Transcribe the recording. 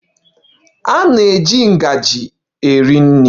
A na-eji ngaji eri nri.